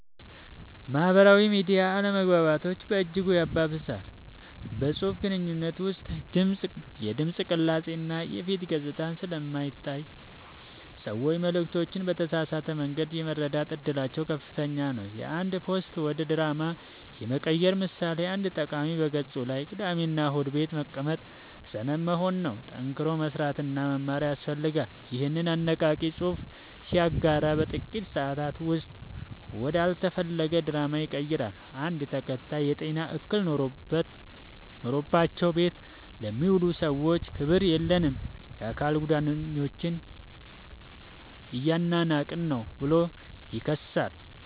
ማህበራዊ ሚዲያ አለመግባባቶችን በእጅጉ ያባብሳል። በፅሁፍ ግንኙነት ውስጥ የድምፅ ቅላፄ እና የፊት ገፅታ ስለማይታይ ሰዎች መልዕክቶችን በተሳሳተ መንገድ የመረዳት እድላቸው ከፍተኛ ነው። የአንድ ፖስት ወደ ድራማ የመቀየር ምሳሌ፦ አንድ ተጠቃሚ በገፁ ላይ "ቅዳሜና እሁድ ቤት መቀመጥ ሰነፍ መሆን ነው፣ ጠንክሮ መስራትና መማር ያስፈልጋል" ይኸንን አነቃቂ ፅሑፍ ሲያጋራ በጥቂት ሰአታት ውስጥ ወደ አልተፈለገ ድራማ ይቀየራል። አንድ ተከታይ "የጤና እክል ኖሮባቸው ቤት ለሚውሉ ሰዎች ክብር የለህም! የአካል ጉዳተኞችን እያናናቅህ ነው ብሎ ይከሳል።